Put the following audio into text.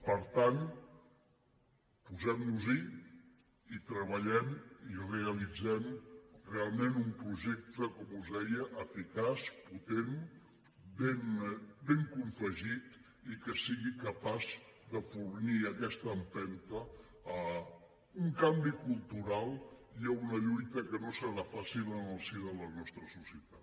per tant posem nos hi i treballem i realitzem realment un projecte com us deia eficaç potent ben confegit i que sigui capaç de fornir aquesta empenta a un canvi cultural i a una lluita que no serà fàcil en el si de la nostra societat